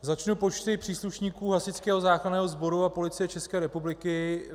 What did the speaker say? Začnu počty příslušníků Hasičského záchranného sboru a Policie České republiky.